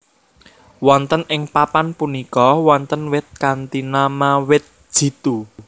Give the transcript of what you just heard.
Wonten ing papan punika wonten wit kanthi nama wit jitu